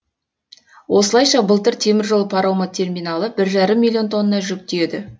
осылайша былтыр теміржол паромы терминалы бір жарым миллион тонна жүк тиеді